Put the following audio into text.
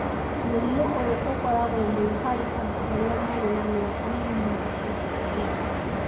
Mũrimũ ũyũ ũkoragwo mũno harĩ andũ arĩa marĩ na mĩaka mĩnini na ciana